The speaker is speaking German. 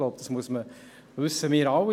Ich glaube, das muss man wissen – wir alle.